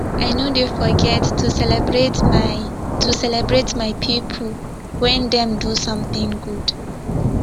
i no dey forget to celebrate my to celebrate my pipo wen dem do sometin good